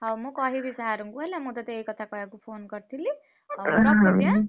ହଉ ମୁଁ କହିବି sir ଙ୍କୁ ହେଲା ମୁଁ ତତେ ଏଇ କଥା କହିବାକୁ phone କରିଥିଲି। ରଖୁଛି ଏଁ?